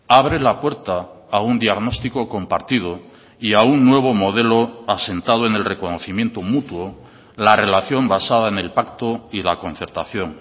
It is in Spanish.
abre la puerta a un diagnóstico compartido y a un nuevo modelo asentado en el reconocimiento mutuo la relación basada en el pacto y la concertación